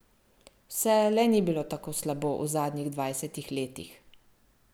Vse le ni bilo tako slabo v zadnjih dvajsetih letih!